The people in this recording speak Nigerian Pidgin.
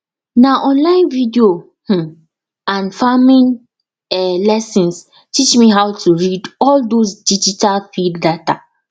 na online video um and farming um lessons teach me how to read all those digital field data